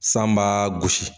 San b'a gosi